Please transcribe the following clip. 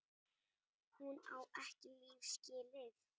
Hún á ekki líf skilið.